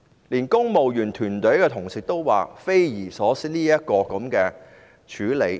連公務員團隊的同事也表示，這樣處理是匪夷所思的。